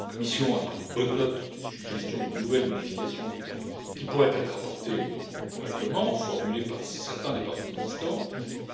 La Commission a pris bonne note des suggestions de nouvelles modifications qui pourraient être apportées au règlement, formulées par certains des partis existants,